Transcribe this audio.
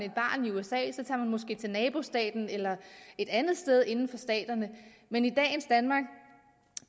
måske til nabostaten eller et andet sted inden for staterne men i dagens danmark